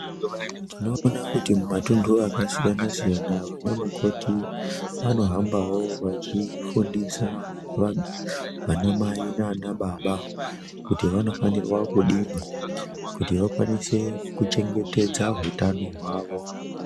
Tinoona kuti mumatuntu akasiyana siyana vana mukoti vanohambawo vachifundisa vanamai nanababa kuti vanofanirwa kudini kuti vakwanise kuchengetedza hutano hwavo.